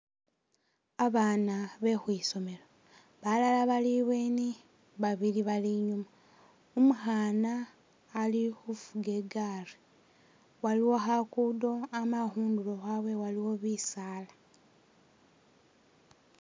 Abaana bekhwisomelo, balala bali i'bweni babili bali i'nyuma, umukhana ali khufuga é gari, waliwo khakundo amala khundulo khwabwe waliwo bisaala